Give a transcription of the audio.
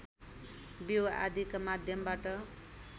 बिउ आदिका माध्यमबाट